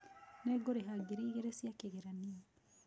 Nĩngũrĩha ngiri igĩrĩ cia kĩgeranio.